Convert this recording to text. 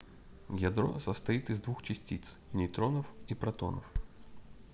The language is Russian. ядро состоит из двух частиц нейтронов и протонов